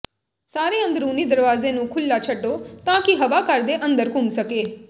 ਸਾਰੇ ਅੰਦਰੂਨੀ ਦਰਵਾਜ਼ੇ ਨੂੰ ਖੁਲ੍ਹਾ ਛੱਡੋ ਤਾਂ ਕਿ ਹਵਾ ਘਰ ਦੇ ਅੰਦਰ ਘੁੰਮ ਸਕੇ